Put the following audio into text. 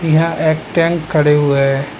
यह एक टैंक खड़े हुए हैं।